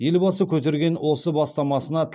елбасы көтерген осы бастамасына